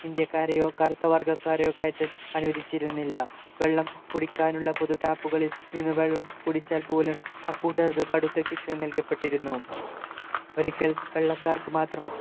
ഇന്ത്യക്കാരെയോ കറുത്ത വർഗക്കാരെയോ കയറ്റാൻ അനുവദിച്ചിരുന്നില്ല വെള്ളം കുടിക്കാനുള്ള പൊതു tap കളിൽ നിന്നും വെള്ളം കുടിച്ചാൽ പോലും അക്കൂട്ടർക്ക് കടുത്ത ശിക്ഷ നല്കപ്പെട്ടിരുന്നു ഒരിക്കൽ വെള്ളക്കാർക്കു മാത്രം